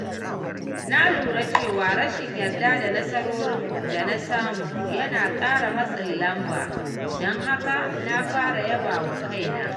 Na lura cewa rashin yarda da nasarorin da na samu yana ƙara matsin lamba, don haka na fara yaba wa kaina.